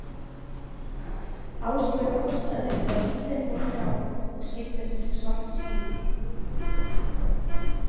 Áslaug hóstaði þegar bílinn fór hjá og skildi eftir sig svart ský.